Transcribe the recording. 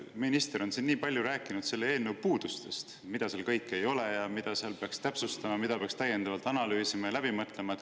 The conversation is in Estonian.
Minister on siin nii palju rääkinud selle eelnõu puudustest: mida seal kõike ei ole ja mida seal peaks täpsustama, mida peaks täiendavalt analüüsima ja läbi mõtlema.